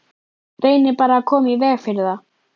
Reynið bara að koma í veg fyrir það.